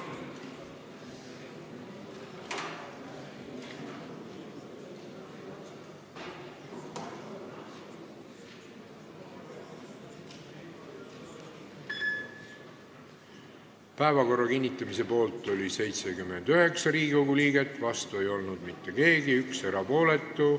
Hääletustulemused Päevakorra kinnitamise poolt oli 79 Riigikogu liiget, vastu ei olnud mitte keegi, 1 oli erapooletu.